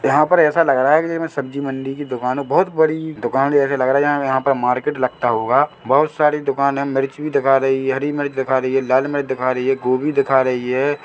यहाँ पर ऐसा लग रहा है की सब्जी मंडी की दुकान बहुत बड़ी दुकान जैसी लग रहा है यहाँ यहाँ पे मार्केट लगता होगा बहुत सारे दुकान है मिर्च भी दिखा रही है हरी मिर्च दिखा रही है लाल मिर्च दिखा रही है गोभी दिखा रही है।